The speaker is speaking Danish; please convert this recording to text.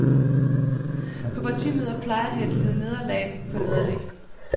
På partimøder plejer de at lide nederlag på nederlag.